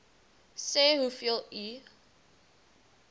sê hoeveel u